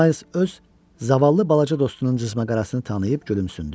Miles öz zavallı balaca dostunun cızma qarasını tanıyıb gülümsündü.